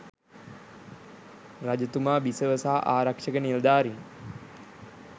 රජතුමා බිසව සහ ආරක්ෂක නිලධාරීන්